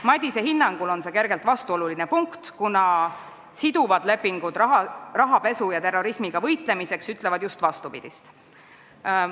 Madise hinnangul on see kergelt vastuoluline punkt, kuna siduvad lepingud rahapesu ja terrorismiga võitlemiseks ütlevad just vastupidist.